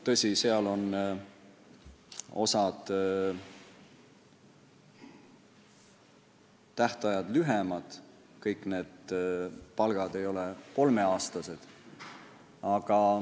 Tõsi, seal on osa tähtaegu lühemad, kõik lepingud ei ole kolmeaastased.